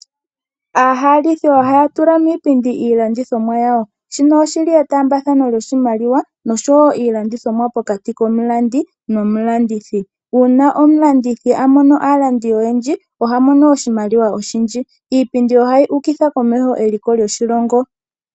Aahalithi oha ya tulamo iipindi, iilandithomwa yawo, shino oshi li etaambathano lyoshimaliwa, nosho woo ilandithomwa pokati komulandi, nomulandithi. Uuna omulandithi a mono aalandi oyendji oha mono oshimaliwa oshindji. Iipindi ohayi ukitha komeho eliko lyoshilongo.